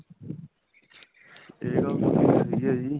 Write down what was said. ਇਹ ਗੱਲ ਤੁਹਾਡੀ ਸਹੀ ਹੈ ਜੀ